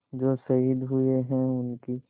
जो शहीद हुए हैं उनकी